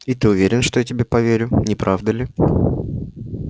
и ты уверен что я тебе поверю не правда ли